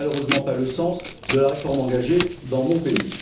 Ce n'est malheureusement pas le sens de la réforme engagée dans mon pays.